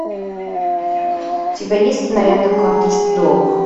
у тебя есть кинолента карточный долг